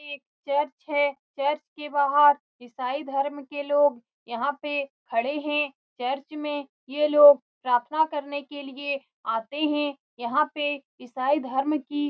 ये एक चर्च है चर्च के बाहर ईसाई धरम के लोग यहाँ पे खड़े है चर्च में ये लोग प्रार्थना करने के लिए आते है यहाँ पे ईसाई धर्म की --